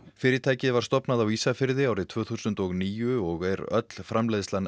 fyrirtækið var stofnað á Ísafirði árið tvö þúsund og níu og er öll framleiðslan